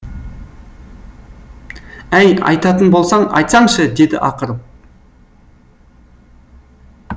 әй айтатын болсаң айтсаңшы деді ақырып